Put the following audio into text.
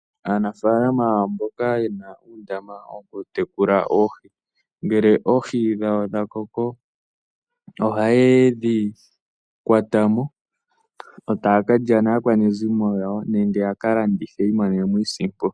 Aanafaalama mboka yena uundama wokutekula oohi, ngele oohi dhawo dhakoko, ohayedhi kwatamo, yo taya ka lya naakwanezimo yawo, nenge yakalandithe opo yiimonene mo iisimpo yawo.